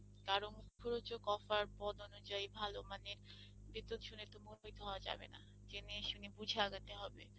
কারো মুখরোচক Offer পদ অনুযায়ী ভালো মানের বিদ্যুৎ শুনে তো হওয়া যাবে না, জেনে শুনে বুঝে আগাতে হবে।